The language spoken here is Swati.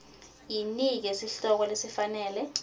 yinike sihloko lesifanele